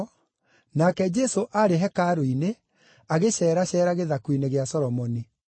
nake Jesũ aarĩ hekarũ-inĩ agĩceraceera gĩthaku-inĩ gĩa Solomoni.